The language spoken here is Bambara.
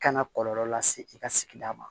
Kana kɔlɔlɔ lase i ka sigida ma